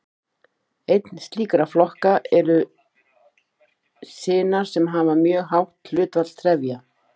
Einn slíkra flokka eru sinar sem hafa mjög hátt hlutfall trefja.